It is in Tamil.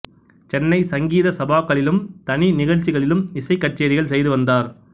சென்னை சங்கீத சபாக்களிலும் தனி நிகழ்ச்சிகளிலும் இசைக் கச்சேரிகள் செய்து வந்தார்